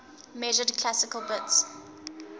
measured classical bits